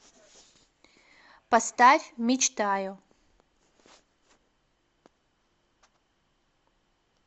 поставь мечтаю